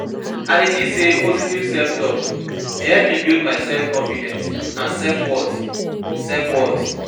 I dey think say positive self-talk dey help me build my self-confidence and self-worth. self-worth.